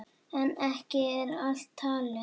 En ekki er allt talið.